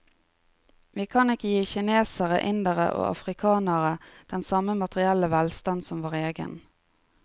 Vi kan ikke gi kinesere, indere og afrikanere den samme materielle velstand som vår egen.